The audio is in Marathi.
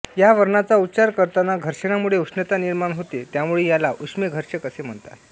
या वर्णाचा उच्चार करताना घर्षणामुळे उष्णता निर्माण होते त्यामुळे याला उष्मे घर्षक असे म्हणतात